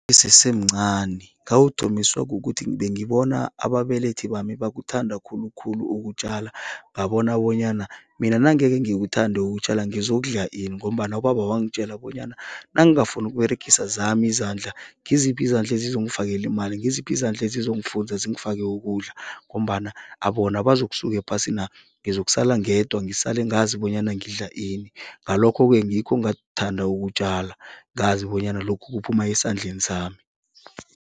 Ngisese mncani. Ngawuthomiswa kukuthi bengibona ababelethi bami bakuthanda khulukhulu ukutjala, ngabona bonyana mina nangeke ngikuthande ukutjala ngizokudla ini ngombana ubaba wangitjela bonyana nangingafuni ukUberegisa zami izandla, ngiziphi izandla ezizongifakela imali, ngiziphi izandla ezizongifunza zingifake ukudla ngombana bona bazokusuka ephasina, ngizokusala ngedwa ngisale ngazi bonyana ngidla ini. Ngalokho-ke ngikho ngathanda ukutjala, ngazi bonyana lokhu kuphuma esandleni sami.